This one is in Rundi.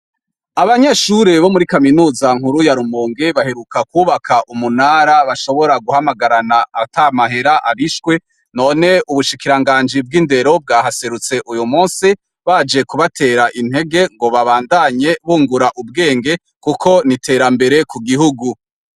Abanyeshure bo muri kaminuza nkuru ya Rumonge baheruka kwubaka umunara bashobora guhamagarana ata mahera arishwe ,none ubushikiranganji bw'indero bwahaserutse uyu musi , baje kubatera intege ngo babandanye bungura ubwenge kuko n'iterambere ku gihugu.